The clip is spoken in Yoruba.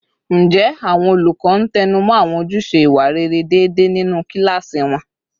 Ǹjẹ́ àwọn olùkọ́ ń tẹnu mọ́ àwọn ojúṣe ìwà rere déédéé nínú kíláàsì wọn?